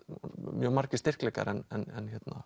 mjög margir styrkleikar en